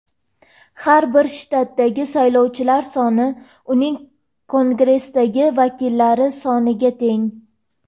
Har bir shtatdagi saylovchilar soni uning Kongressdagi vakillari soniga teng.